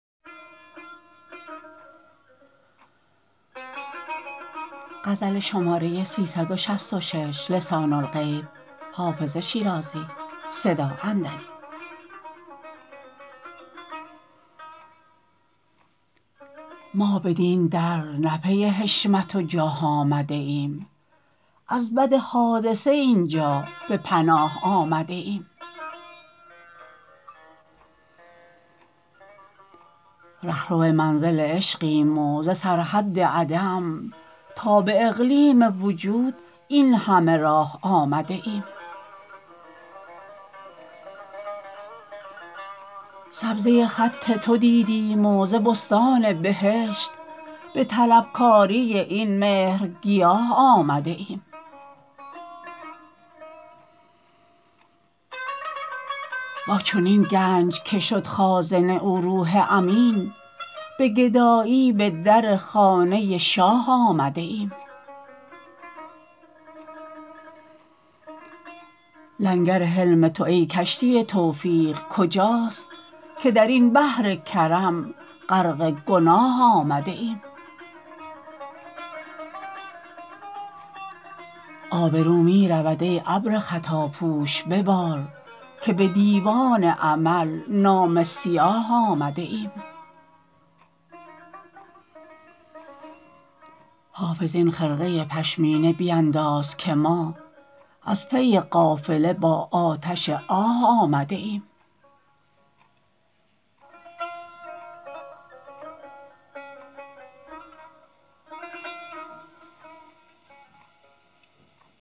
ما بدین در نه پی حشمت و جاه آمده ایم از بد حادثه این جا به پناه آمده ایم رهرو منزل عشقیم و ز سرحد عدم تا به اقلیم وجود این همه راه آمده ایم سبزه خط تو دیدیم و ز بستان بهشت به طلبکاری این مهرگیاه آمده ایم با چنین گنج که شد خازن او روح امین به گدایی به در خانه شاه آمده ایم لنگر حلم تو ای کشتی توفیق کجاست که در این بحر کرم غرق گناه آمده ایم آبرو می رود ای ابر خطاپوش ببار که به دیوان عمل نامه سیاه آمده ایم حافظ این خرقه پشمینه بینداز که ما از پی قافله با آتش آه آمده ایم